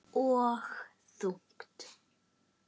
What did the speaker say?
Og þungt.